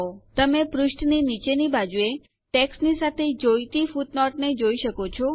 તમે પુષ્ઠની નીચેની બાજુએ ટેક્સ્ટની સાથે જોઈતી ફૂટનોટને જોઈ શકો છો